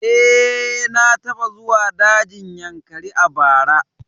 Eh, na taɓa zuwa dajin Yankari a bara